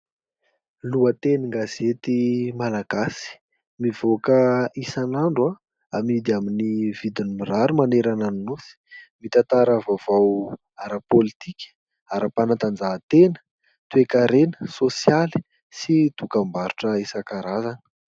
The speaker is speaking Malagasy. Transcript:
Lohateny gazety malagasy mivoaka isan'andro amidy amin'ny vidiny mirary manerana ny nosy. Mitantara vaovao ara-pôlitika, ara-panatanjahantena, toe-karena, sôsialy sy dokam-barotra isan-karazany.